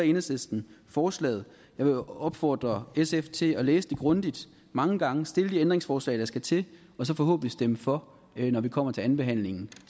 enhedslisten forslaget jeg vil opfordre sf til at læse det grundigt mange gange stille de ændringsforslag der skal til og så forhåbentlig stemme for når vi kommer til andenbehandlingen